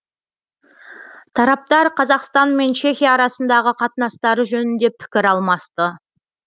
тараптар қазақстан мен чехия арасындағы қатынастары жөнінде пікір алмасты